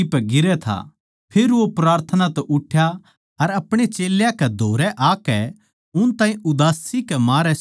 फेर वो प्रार्थना तै उठ्या अर अपणे चेल्यां कै धोरै आकै उन ताहीं उदासी कै मारै सोन्दे पाया